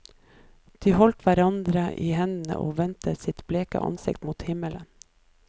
De holdt hverandre i hendene og vendte sine bleke ansikter mot himmelen.